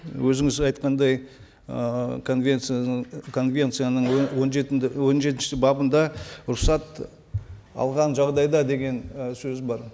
өзіңіз айтқандай ы конвенцияны конвенцияның он жетінші бабында рұқсат алған жағдайда деген і сөз бар